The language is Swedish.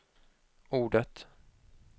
ordet